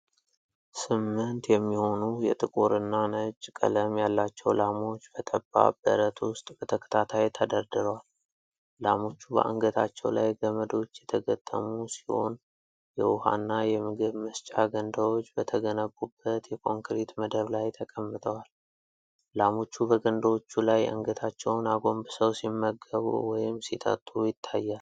ስምንት የሚሆኑ የጥቁር እና ነጭ ቀለም ያላቸው ላሞች በጠባብ በረት ውስጥ በተከታታይ ተደርድረዋል። ላሞቹ በአንገታቸው ላይ ገመዶች የተገጠሙ ሲሆን፤ የውኃ እና የምግብ መስጫ ገንዳዎች በተገነቡበት የኮንክሪት መደብ ላይ ተቀምጠዋል። ላሞቹ በገንዳዎቹ ላይ አንገታቸውን አጎንብሰው ሲመገቡ ወይም ሲጠጡ ይታያል።